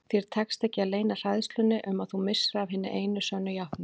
Þér tekst ekki að leyna hræðslunni um að þú missir af hinni einu sönnu játningu.